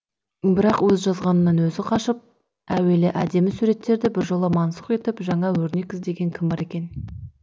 бірақ өз жазғанынан өзі қашқан әуелгі әдемі суреттерді біржола мансұқ етіп жаңа өрнек іздеген кім бар екен